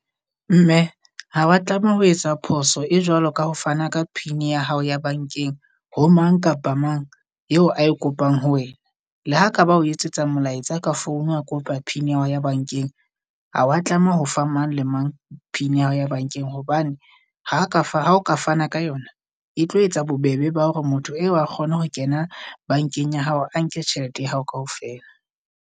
Mme ha wa tlameha ho etsa phoso e jwalo ka ho fana ka pin ya hao ya bankeng ho mang kapa mang eo a e kopang ho wena. Le ha ka ba o etsetsa molaetsa ka founu a kopa Pin ya hao ya bankeng. Ha wa tlameha ho fa mang le mang pin ya hao ya bankeng hobane, ha ka fa ka fana ka yona. E tlo etsa bobebe ba hore motho eo a kgone ho kena bankeng ya hao a nke tjhelete ya hao kaofela.